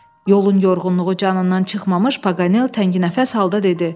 Yolun yorğunluğu canından çıxmamış Paganel tənginəfəs halda dedi: